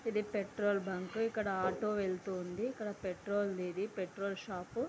ఇది petrol bunk . ఇక్కడ auto వెళ్ళుతుంది. ఇది పెట్రోల్ ఇది. Petrol shop .